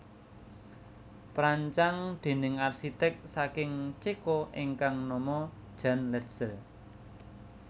Perancang déning arsiték saking Ceko ingkang nama Jan Letzel